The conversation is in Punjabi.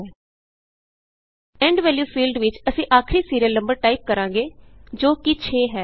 ਈਐਂਡ valueਫੀਲਡ ਵਿਚ ਅਸੀਂ ਆਖਰੀ ਸੀਰੀਅਲ ਨੰਬਰ ਟਾਈਪ ਕਰਾਂਗੇ ਜੋ ਕਿ6ਹੈ